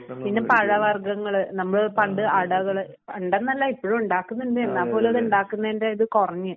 പിന്നെ പഴവർഗങ്ങള് നമ്മൾ പണ്ട് അടകള് പണ്ടന്നല്ല ഇപ്പഴും ഉണ്ടാക്കുന്നുണ്ട് എന്നാൽപോലും അത്ണ്ടാക്കുന്നേൻ്റെ ഇത് കുറഞ്ഞു